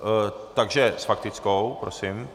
Takže s faktickou, prosím.